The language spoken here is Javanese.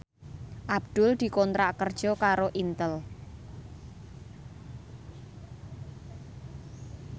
Abdul dikontrak kerja karo Intel